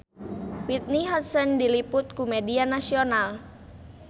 Whitney Houston diliput ku media nasional